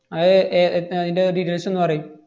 അത് ഏർ എഡ്~ അയിന്‍റെ details ഒന്ന് പറയ്.